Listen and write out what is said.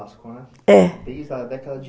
É. Desde a década de